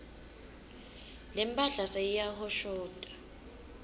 lemphahla seyiyahoshota